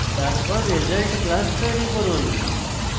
তারপর result class তৈরী করুন